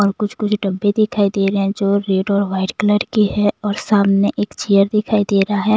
और कुछ कुछ डब्बे दिखाई दे रहे हैं जो रेड और वाइट कलर की है और सामने एक चेयर दिखाई दे रहा है।